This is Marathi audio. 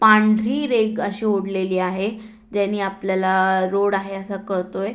पांढरी रेख अशी ओढलेली आहे ज्यानी आपल्याला रोड आहे अस कळतोय.